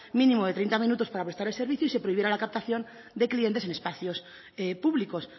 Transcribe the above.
mínimo de treinta minutos para prestar el servicio y se prohibiera la captación de clientes en espacios públicos